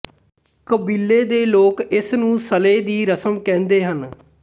ਕਬੀਲੇ ਦੇ ਲੋਕ ਇਸਨੂੰ ਸਲੇ ਦੀ ਰਸਮ ਕਹਿੰਦੇ ਹਨ